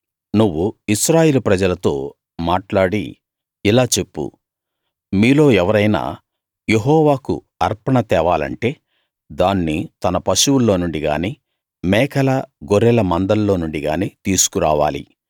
నువ్వు ఇశ్రాయేలు ప్రజలతో మాట్లాడి ఇలా చెప్పు మీలో ఎవరైనా యెహోవాకు అర్పణ తేవాలంటే దాన్ని తన పశువుల్లో నుండి గానీ మేకల గొర్రెల మందల్లో నుండి గానీ తీసుకు రావాలి